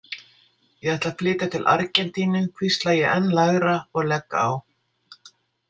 Ég ætla að flytja til Argentínu, hvísla ég enn lægra og legg á.